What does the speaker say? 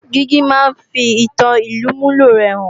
Dígí máa ń fi ìtan olùmúlò rẹ hàn